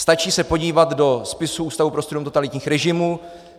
Stačí se podívat do spisů Ústavu pro studium totalitních režimů.